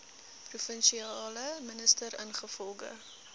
provinsiale minister ingevolge